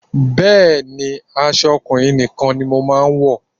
Bẹ́ẹ̀ni, aṣọ ọkùnrin nìkan ni mo máa ń wọ̀